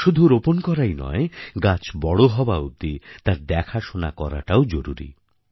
শুধু রোপণ করাই নয় গাছ বড় হওয়া অবধি তার দেখাশোনা করাটাও জরুরী